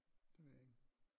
Det ved jeg ikke